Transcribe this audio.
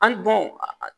An bɔn a